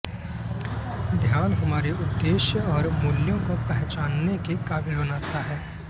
ध्यान हमारे उद्देश्य और मूल्यों को पहचानने के काबिल बनाता है